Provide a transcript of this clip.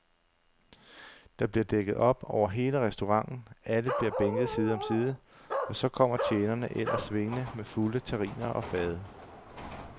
Der bliver dækket op over hele restauranten, alle bliver bænket side om side, og så kommer tjenerne ellers svingende med fulde terriner og fade.